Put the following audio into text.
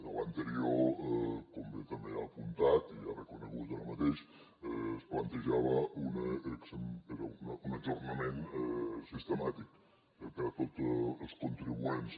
a l’anterior com bé també ha apuntat i ha reconegut ara mateix es plantejava un ajornament sistemàtic per a tots els contribuents